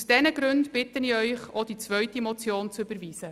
Aus diesen Gründen bitte ich Sie, auch die zweite Motion zu überweisen.